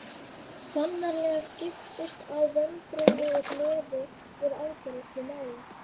Sannarlega skiptust á vonbrigði og gleði við afgreiðslu mála.